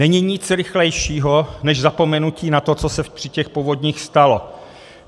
Není nic rychlejšího než zapomenutí na to, co se při těch povodních stalo.